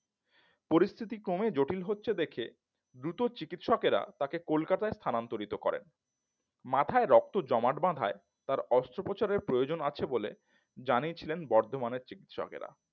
পরিস্থিতি ক্রমে জটিল হচ্ছে দেখে দ্রুত চিকিৎসকেরা তাকে কলকাতা স্থানান্তরিত করে মাথায় রক্ত জমাট বাঁধায় অস্ত্রো প্রচারের প্রয়োজন আছে বলে জানিয়েছিলেন বর্তমানের চিকিৎসকেরা